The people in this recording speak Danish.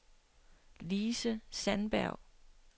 Lise Sandberg